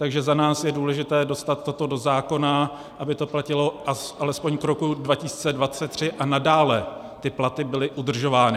Takže za nás je důležité dostat toto do zákona, aby to platilo alespoň k roku 2023 a nadále ty platy byly udržovány.